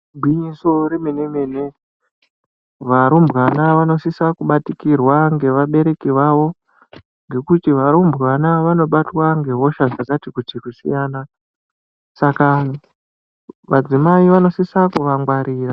Gwinyiso remene-mene. Varumbwana vanosisa kubatikirwa ngevabereki vavo ngekuti varumbwana vanobatwa ngehosha dzakati kuti kusiyana saka madzimai anosisa kuvangwarira.